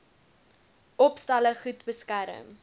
opstalle goed beskerm